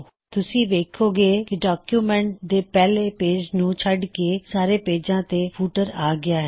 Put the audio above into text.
ਤੁਸੀਂ ਵੇਖੋਂ ਗੇ ਕੀ ਡੌਕਯੁਮੈੱਨਟ ਦੇ ਪਹਿਲੇ ਪੇਜ ਨੂੰ ਛਡ ਕੇ ਸਾਰੇ ਪੇਜਾਂ ਤੇ ਫੁੱਟਰ ਆ ਗਇਆ ਹੈ